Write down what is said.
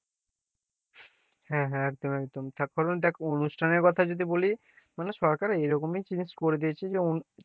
হ্যাঁ হ্যাঁ একদম একদম তারপর দেখ অনুষ্ঠানের কথা যদি বলি, মানে সরকার এমনই জিনিস করে দিয়েছে যে অনু,